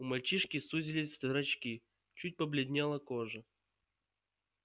у мальчишки сузились зрачки чуть побледнела кожа